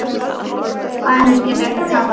Faðir minn getur ekki tapað.